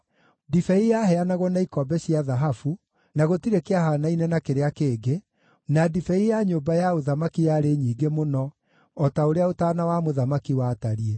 Ndibei yaheanagwo na ikombe cia thahabu, na gũtirĩ kĩahaanaine na kĩrĩa kĩngĩ, na ndibei ya nyũmba ya ũthamaki yarĩ nyingĩ mũno o ta ũrĩa ũtaana wa mũthamaki watariĩ.